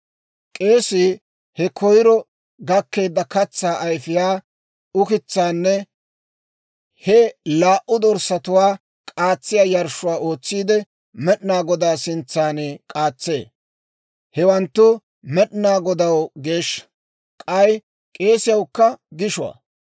« ‹K'eesii he koyiro gakkeedda katsaa ayfiyaa ukitsaanne he laa"u dorssatuwaa k'aatsiyaa yarshshuwaa ootsiide, Med'inaa Godaa sintsan k'aatsee; hewanttu Med'inaa Godaw geeshsha; k'ay k'eesiyaawukka gishuwaa.